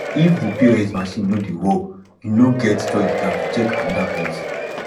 if di pos machine no dey work you no get choice than to check anoda place